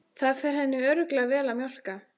Það fer henni örugglega vel að mjólka.